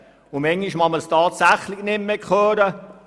Manchmal kann man das tatsächlich nicht mehr hören.